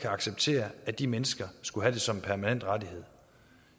acceptere at de mennesker skulle have det som en permanent rettighed